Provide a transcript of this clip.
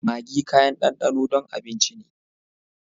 Maggi kayan danɗano don abinci ne.